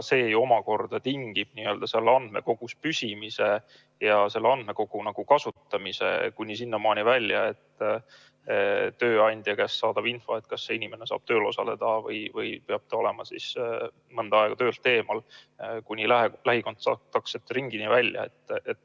See tingib info andmekogus püsimise ja selle andmekogu kasutamise kuni sinnamaani välja, et on tööandja käest saadav info, kas inimene saab tööl osaleda või peab ta olema mõnda aega töölt eemal – kuni lähikontaktsete ringini välja.